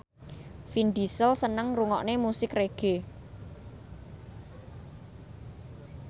Vin Diesel seneng ngrungokne musik reggae